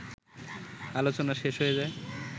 আলোচনা শেষ হয়ে যায়